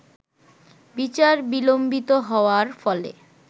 বিচার বিলম্বিত হওয়ার ফলে